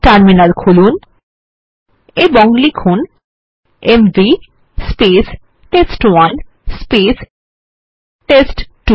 terminal খুলুন এবং লিখুন এমভি টেস্ট1 টেস্ট2